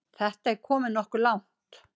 Þetta er komið nokkuð langt.